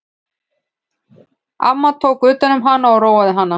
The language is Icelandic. Amma tók utan um hana og róaði hana.